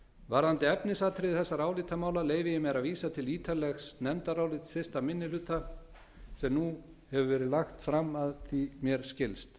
varðandi efnisatriði þessara álitamála leyfi ég mér að vísa ég til ítarlegs nefndarálits fyrsta minnihluta fjárlaganefndar sem nú hefur verið lagt fram að mér skilst